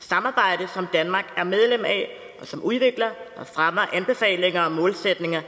samarbejde som danmark er medlem af og som udvikler og fremmer anbefalinger og målsætninger